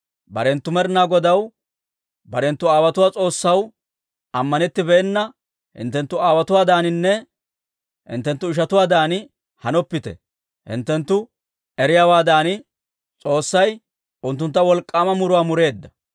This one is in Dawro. Barenttu Med'inaa Godaw, barenttu aawotuwaa S'oossaw ammanettibeenna hinttenttu aawotuwaadaaninne hinttenttu ishatuwaadan hanoppite. Hinttenttu eriyaawaadan S'oossay unttunttu wolk'k'aama muruwaa mureedda.